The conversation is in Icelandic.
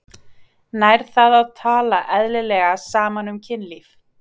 Nær það að tala eðlilega saman um kynlíf?